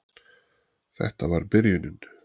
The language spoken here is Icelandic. Þetta var byrjunin.